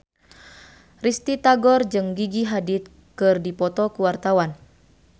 Risty Tagor jeung Gigi Hadid keur dipoto ku wartawan